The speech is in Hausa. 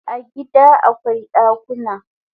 A gida akwai dakuna